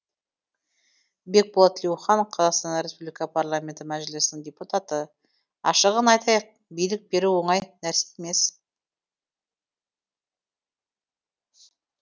бекболат тілеухан қазақстан республика парламенті мәжілісінің депутаты ашығын айтайық билік беру оңай нәрсе емес